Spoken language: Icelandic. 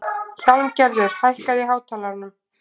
Hjálmgerður, hækkaðu í hátalaranum.